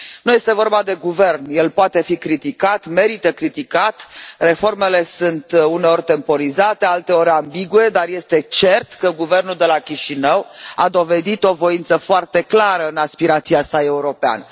Nu este vorba de Guvern, el poate fi criticat, merită criticat, reformele sunt uneori temporizate, alteori ambigue, dar este cert că guvernul de la Chișinău a dovedit o voință foarte clară în aspirația sa europeană.